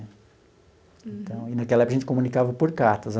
Então e, naquela época, a gente comunicava por cartas.